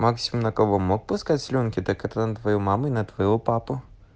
максимум на кого он мог пускать слюнки так это на твою маму и на твоего папу